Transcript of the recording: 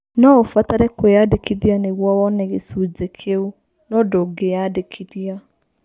No ũbatare kwĩyandĩkithia nĩguo ũhote kuona gĩcunjĩ kĩu, no ndũngĩyandĩkithia.